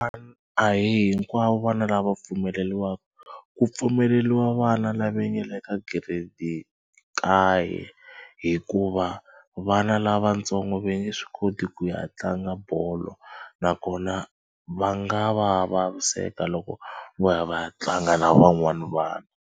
a hi hinkwavo vana lava pfumeleriwaka ku pfumeleriwa vana lava nga le ka grade kaye hikuva vana lavatsongo va nge swi koti ku ya tlanga bolo nakona va nga va vaviseka loko vo ya va ya tlanga na van'wana vana.